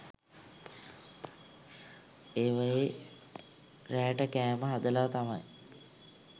ඒවයේ රෑට කෑම හදලා තමයි